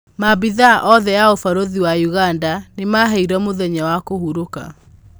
Maabithaa othe a ũbarũthĩ wa ũganda nĩmaheirwo mũthenya wa kũhurũka.